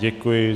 Děkuji.